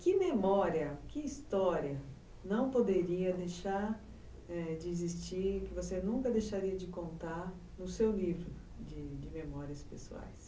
Que memória, que história não poderia deixar, é, de existir, que você nunca deixaria de contar no seu livro de de memórias pessoais?